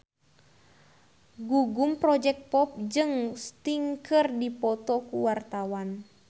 Gugum Project Pop jeung Sting keur dipoto ku wartawan